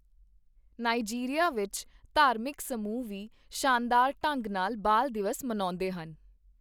Nigeria ਵਿੱਚ ਧਾਰਮਿਕ ਸਮੂਹ ਵੀ ਸ਼ਾਨਦਾਰ ਢੰਗ ਨਾਲ ਬਾਲ ਦਿਵਸ ਮਨਾਉਂਦੇ ਹਨ।